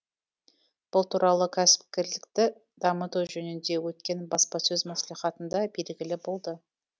бұл туралы кәсіпкерлікті дамыту жөнінде өткен баспасөз мәслихатында белгілі болды